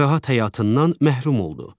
Rahat həyatından məhrum oldu.